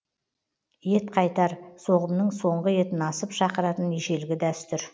ет қайтар соғымның соңғы етін асып шақыратын ежелгі дәстүр